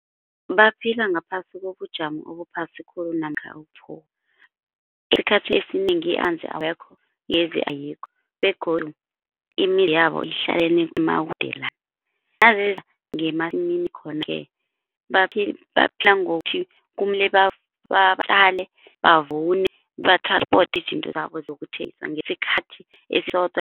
Baphila ngaphasi kobujamo obuphasi khulu namkha . Isikhathi esinengi amanzi awekho, igezi ayikho begodu imizi yabo ihlalelene emakudelana. Naziza ngemasimini khona-ke baphila ngokuthi kumele batjale, bavune, bathransipote izinto zabo ngesikhathi